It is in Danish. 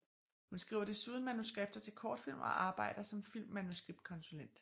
Hun skriver desuden manuskripter til kortfilm og arbejder som filmmanuskriptkonsulent